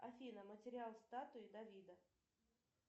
афина материал статуи давида